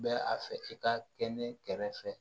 Bɛ a fɛ i ka kɛ ne kɛrɛfɛ